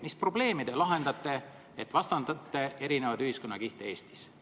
Mis probleemi te lahendate, kui vastandate eri ühiskonnakihte Eestis?